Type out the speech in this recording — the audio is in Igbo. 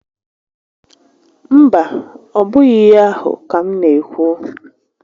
Mba, ọ bụghị íhé ahụ́ ka m n'ékwú